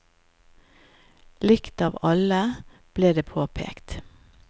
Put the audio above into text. Likt av alle, ble det påpekt.